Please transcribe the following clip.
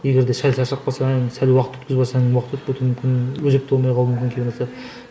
егерде сәл шаршап қалсаң сәл уақыт өткізіп алсаң уақыт өтіп кетуі мүмкін өзекті болмай қалуы мүмкін